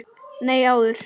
Nei, áður.